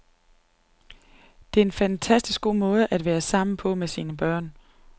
Det er en fantastisk god måde at være sammen med sine børn på.